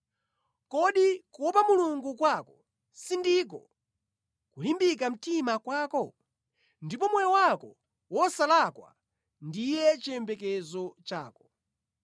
Kodi kuopa Mulungu kwako sindiko kulimbika mtima kwako? Ndipo moyo wako wosalakwa ndiye chiyembekezo chako?